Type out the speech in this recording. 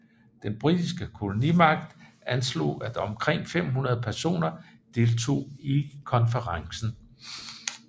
Den britiske kolonimagt anslog at omkring 500 personer deltog i konferencen